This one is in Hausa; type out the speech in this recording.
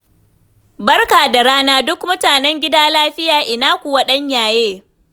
Barka da rana, duk mutan gida lafiya? Ina kuwa ɗan yaye?